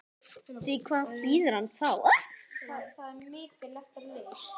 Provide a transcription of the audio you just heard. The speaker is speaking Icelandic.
Því hvað bíður hans þá?